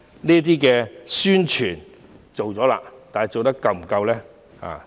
這些宣傳做了，但是否做得足夠呢？